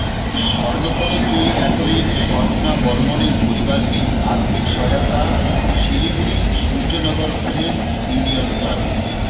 স্বর্ণপদক জয়ী অ্যাথলিট স্বপ্না বর্মনের পরিবারকে আর্থিক সহায়তা শিলিগুড়ির সূর্যনগর ফ্রেন্ডস ইউনিয়ন ক্লাবের